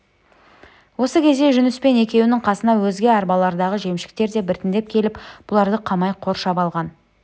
осы кезде жүніспен екеуінің қасына өзге арбалардағы жемшіктер де біртіндеп келіп бұларды қамай қоршап алған